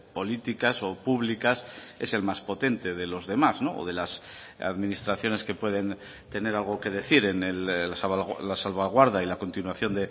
políticas o públicas es el más potente de los demás o de las administraciones que pueden tener algo que decir en la salvaguarda y la continuación